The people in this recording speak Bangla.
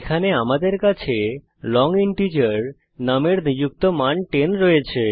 এখানে আমাদের কাছে লং ইন্ট নুম এর নিযুক্ত মান 10 আছে